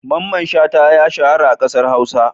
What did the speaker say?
Mamman Shata ya shahara a ƙasar Hausa.